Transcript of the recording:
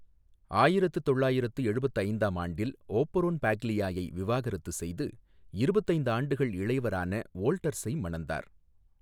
ஆயிரத்து தொள்ளாயிரத்து எழுபத்து ஐந்தாம் ஆண்டில் ஓபரோன் பாக்லியாயை விவாகரத்து செய்து, இருபத்து ஐந்து ஆண்டுகள் இளையவரான வோல்டர்ஸை மணந்தார்.